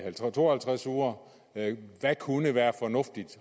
to og halvtreds uger hvad kunne være fornuftigt